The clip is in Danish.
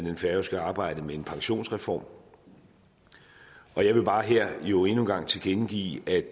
det færøske arbejde med en pensionsreform og jeg vil bare her endnu en gang tilkendegive at